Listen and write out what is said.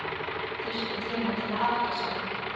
Þurfti tíma til að átta sig.